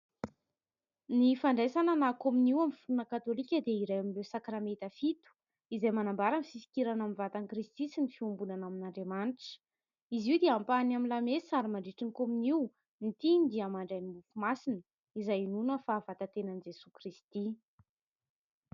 Ny fandraisana na kominio amin'ny finoana katolika dia iray amin'ny sakramenta fito, izay manambara ny fifikirana amin'ny vatan'i Kristy sy ny fiombonana amin'Andriamanitra. Izy io dia ampahany amin'ny lamesa, ary mandritran'ny komonio ny mpino dia mandray ny mofo masina, izay inoana fa vatan-tenan'i Jesoa Kristy.